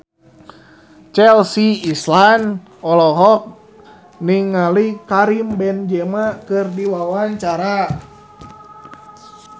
Chelsea Islan olohok ningali Karim Benzema keur diwawancara